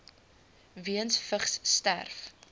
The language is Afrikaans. weens vigs sterf